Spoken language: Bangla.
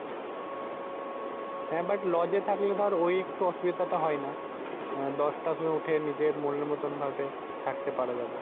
হ্যাঁ But লজে থাকলে ঐ একটু অসুবিধাটা হয়না। দশটার সময় উঠে নিজের মনের মত ভাবে থাকতে পারা যাবে।